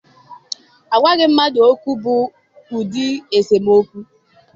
Agwaghị mmadụ okwu bụ ụdị esemokwu.